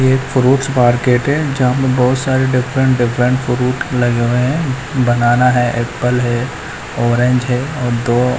एक fruits market है जहां में बहुत सारे डिफरेंट डिफरेंट फ्रूट लगे हुए हैं बनाना है एप्पल है ऑरेंज है और दो--